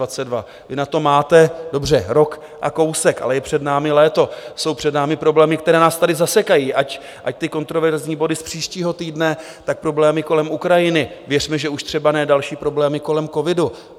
Vy na to máte, dobře, rok a kousek, ale je před námi léto, jsou před námi problémy, které nás tady zasekají, ať ty kontroverzní body z příštího týdne, tak problémy kolem Ukrajiny, věřme, že už třeba ne další problémy kolem covidu.